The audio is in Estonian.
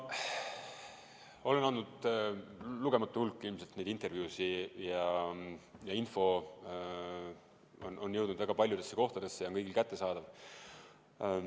Jah, ma olen andnud ilmselt lugematu hulga neid intervjuusid ja info on jõudnud väga paljudesse kohtadesse ja on kõigile kättesaadav.